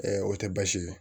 o tɛ baasi ye